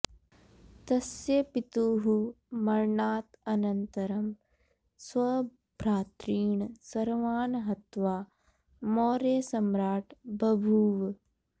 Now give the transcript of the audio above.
तस्य पितुः मरणात् अनन्तरम् स्वभ्रातॄन् सर्वान् हत्वा मौर्यसम्राट् बभूव